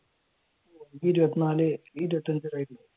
ഇരുപത്തിനാല് ഇരുപത്തിയഞ്ചു